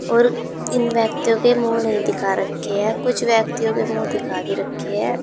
और इन व्यक्तियों के मुंह नहीं दिखा रखे हैं कुछ व्यक्तियों के मुंह दिखा भी रखे हैं।